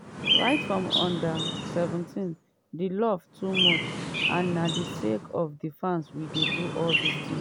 right from under-17 di love too much and na sake of di fans we dey do all dis tins